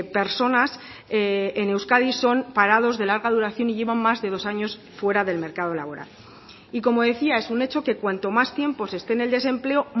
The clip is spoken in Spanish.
personas en euskadi son parados de larga duración y llevan más de dos años fuera del mercado laboral y como decía es un hecho que cuanto más tiempo se esté en el desempleo